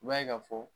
I b'a ye ka fɔ